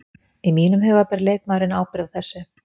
Í mínum huga ber leikmaðurinn ábyrgð á þessu.